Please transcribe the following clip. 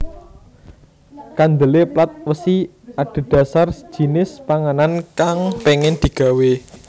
Kandhele plat wesi adhedhasar jinis panganan kang pengin digawe